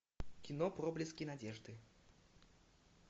кино проблески надежды